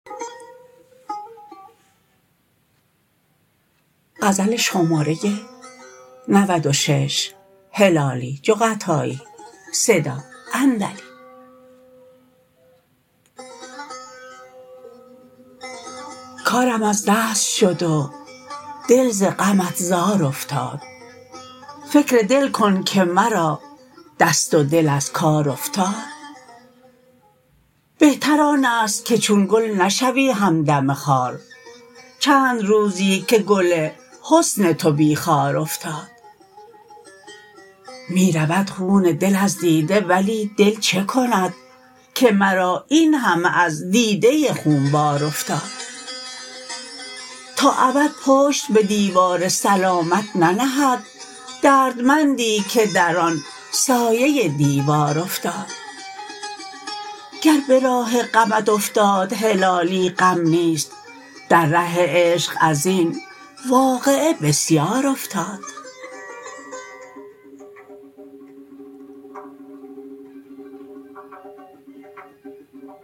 کارم از دست شد و دل ز غمت زار افتاد فکر دل کن که مرا دست و دل از کار افتاد بهتر آنست که چون گل نشوی همدم خار چند روزی که گل حسن تو بی خار افتاد میرود خون دل از دیده ولی دل چه کند که مرا این همه از دیده خونبار افتاد تا ابد پشت بدیوار سلامت ننهد دردمندی که در آن سایه دیوار افتاد گر براه غمت افتاد هلالی غم نیست در ره عشق ازین واقعه بسیار افتاد